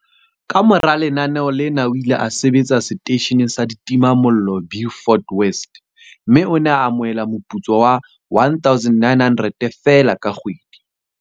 Kamora lenaneo lena o ile a sebetsa seteisheneng sa ditimamollo Beaufort West, mme o ne a amohela moputso wa R1 900 feela ka kgwedi.